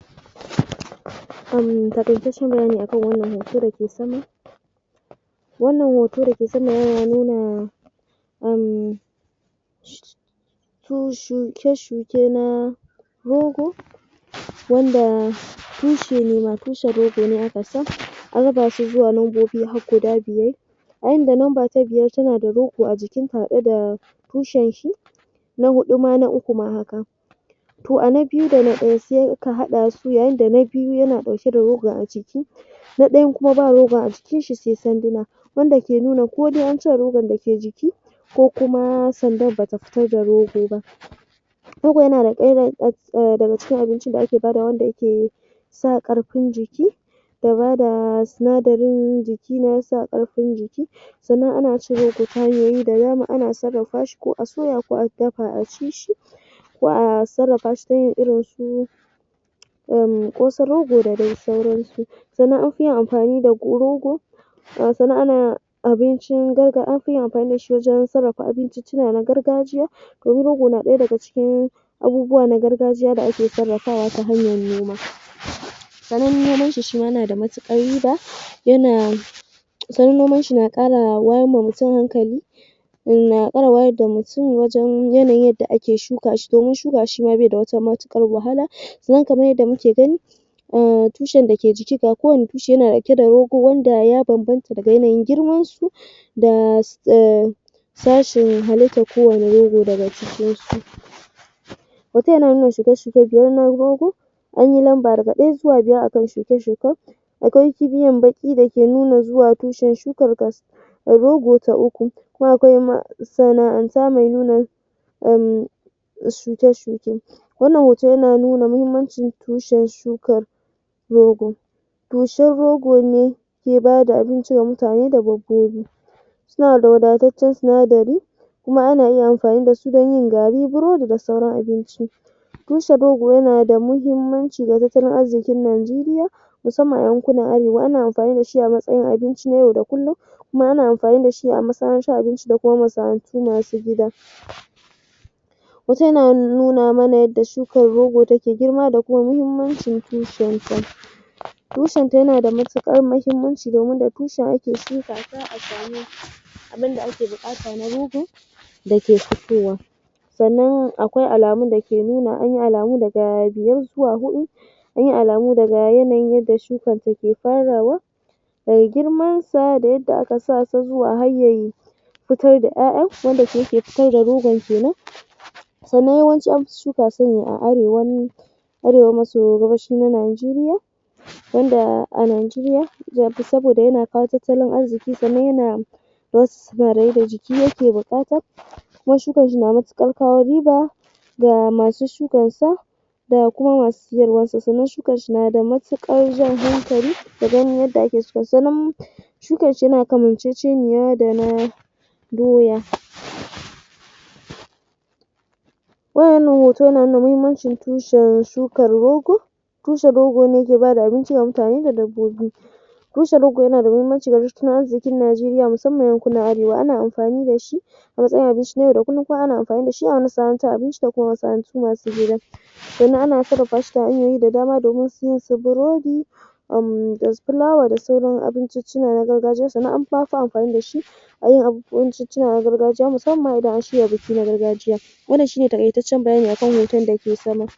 um Taaitaccen bayani a kan wannan hoto da ke sama Wannan hoto da ke sama yana nuna um shuke-shuke na rogo wanda tushe ne ma--tushen rogo ne aka sa, an raba su zuwa lambobi har guda biyar. A inda lamba ta biyar tana da rogo a jikinta tare da tushenshi. Na huɗu ma, na uku ma haka. To a na biyu da na ɗaya sai aka haɗa su yayin da na biyu yana ɗauke a rogon a jiki. Na ɗayan kuma ba rogon a jikinshi sai sanduna, wanda ke nuna ko dai an cire rogon da ke jiki ko kuma sandar ba ta fito da rogo ba. Rogo yana daga cikin abincin da ake badawa wanda yake sa ƙarfin jiki da bada sinadarin jiki na sa ƙarfin jiki. Sannan ana cin rogo ta hanyoyi da yawa, ana sarrafa shi ko a soya ko a dafa a ci shi. Za a sarrafa shi ta yin irin su ƙosan rogo da dai sauransu. Sannan an fi yin amfani da rogo sannan ana abincin, ana amfani da shi wajen sarrafa abinciccina na gargajiya. To shi rogo na ɗaya daga cikin abubuwa na gargajiya da ake sarrafawa ta hanyar noma. Sannan noman shi shi ma yana da matuƙar riba yana sannan noman shi yana ƙara wayr wa mutum hankali. na ƙara wayar da mutum wajen yanayin yadda ake shuka shi domin shuka shi bai da wata matuƙar wahala don kamar yadda muke gani tushen da ke jiki, ga kowane tushe yana da rogo wanda ya bambanta da yanayin girmansu. da sashen halittar kowane rogo daga cikinsu. Hoton yana nuna shuke-shuke girman rogo an yi lamba daga ɗaya zuwa biyar a kan shuke-shuken. Akwai kiniyan baƙi da ke nuna zuwa tushen shukar Rogo ta uku um shuke-shuke Wannan hoto yana nuna muhimmancin tushen shukar rogo tushen rogo ne ke ba da abinci wa mutane da dabbobi. Yana da wadataccen sinadari kuma ana iya amfani da su don yin gari, burodi da sauran abinci. Tushen rogo yana da muhimmanci ga tattalin arzikin Najeriya musamman a yankunan Arewa, ana amfani da shi a matsayin abinci na yau da kullum. kuma ana amfani da shi da kuma masu gida Hoton yana nuna mana yadda shukar rogo take girma da kuma muhimmancin tushenta. Tushenta yana da matuƙar muhummanci domin da tushen ake shuka ta a samu abin da ake buƙata na rogo da ke fitowa. Sannan akwai alamun da ke nuna an yi alamu daga biyar zuwa huɗu da yin alamu daga yanayin yadda shukarta ke farawa. daga girmansa da yadda aka sa su zuwa har ya yi. fitar da ƴaƴa wanda shi yake fitar da rogon ke nan. Sannan yawanci an fi shuka su ne a Arewa Arewa maso gabashin Najeriya. wanda a Najeriya saboda yana kawo tattalin arziki kuma yana jiki yake buƙata. Shukarsu na matuƙar kawo riba. ga masu shukarsa. da kuma masu sayarwarsa sannan shukarsa na da matuƙar jan hankali Shukarsa yana kamanceceniya da na doya To, wannan hoto yana nuna muhimmancin shukar tushen rogo tushen rogo ne yake ba da abinci wa mutane da dabbobi tushen rogo yana da muhimmanci wajen tattalin arzikin Najeriya musamman yankunan Arewa. Ana amfani da shi a matsayin abinci na yau da kullum kuma ana amfani da shi gida Sannan ana sarrafa shi ta hanyoyi da dama irin su burodi um da fulawa da sauran abinciciccina na gargajiya. Sannan an fi amfani da shi wajen abinciccina na gargajiya musamman ma idan an shgirya biki na gargajiya. Wannan shi ne taƙaitaccen bayani a kan hoton da ke sama.